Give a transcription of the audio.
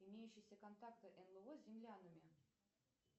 имеющиеся контакты нло с землянами